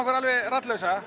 er